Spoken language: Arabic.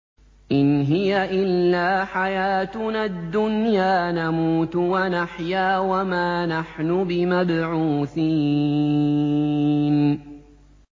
إِنْ هِيَ إِلَّا حَيَاتُنَا الدُّنْيَا نَمُوتُ وَنَحْيَا وَمَا نَحْنُ بِمَبْعُوثِينَ